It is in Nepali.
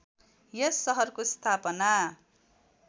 यस सहरको स्‍थापना